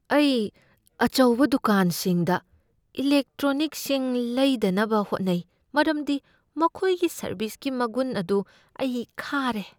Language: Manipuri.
ꯑꯩ ꯑꯆꯧꯕ ꯗꯨꯀꯥꯟꯁꯤꯡꯗ ꯏꯂꯦꯛꯇ꯭ꯔꯣꯅꯤꯛꯁꯤꯡ ꯂꯩꯗꯅꯕ ꯍꯧꯠꯅꯩ ꯃꯔꯝꯗꯤ ꯃꯈꯣꯏꯒꯤ ꯁꯔꯕꯤꯁꯀꯤ ꯃꯒꯨꯟ ꯑꯗꯨ ꯑꯩ ꯈꯥꯔꯦ꯫